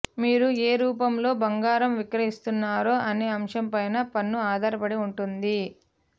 మీరు ఏ రూపంలో బంగారం విక్రయిస్తున్నారు అనే అంశంపై పన్ను ఆధారపడి ఉంటుంది